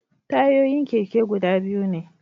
Tayoyin keke guda biyu ne